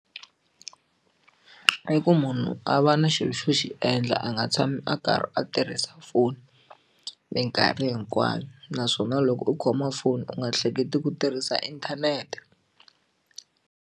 I ku munhu a va na xilo xo xi endla a nga tshami a karhi a tirhisa foni minkarhi hinkwayo naswona loko u khoma foni u nga hleketi ku tirhisa inthanete.